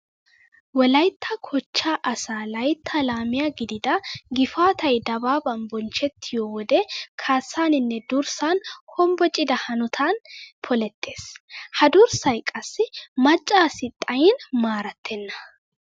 Wolaytta kochchaa asaa layttaa laamiya gidida gifaatay dabaaban bonchchettiyo wode kaassaaninne durssan hombbocida hanotan polettees. Ha durssay qassi macca asi xayin maarattenna.